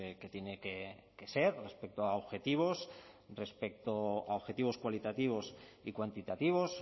que tiene que ser respecto a objetivos respecto a objetivos cualitativos y cuantitativos